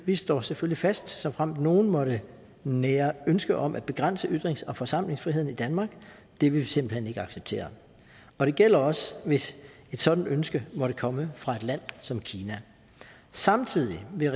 vi står selvfølgelig fast såfremt nogen måtte nære ønske om at begrænse ytrings og forsamlingsfriheden i danmark det vil vi simpelt hen ikke acceptere og det gælder også hvis et sådant ønske måtte komme fra et land som kina samtidig vil